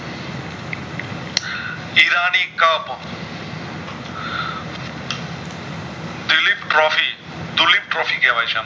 ડૂલીટ trophy દુલીત trophy કેવાય છે આમ